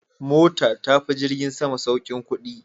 Mota ta fi jirgin sama saukin kudi.